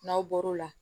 N'aw bɔr'o la